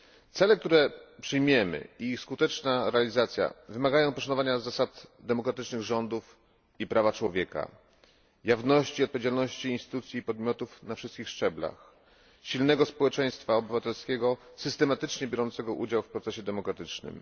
Cele, które przyjmiemy, i ich skuteczna realizacja wymagają poszanowania zasad demokratycznych rządów i praw człowieka, jawności i odpowiedzialności instytucji i podmiotów na wszystkich szczeblach, silnego społeczeństwa obywatelskiego systematycznie biorącego udział w procesie demokratycznym.